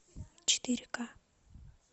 четыре ка